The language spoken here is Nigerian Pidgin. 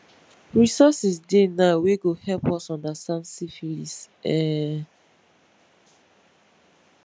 resources dey now wey go help us understand syphilis um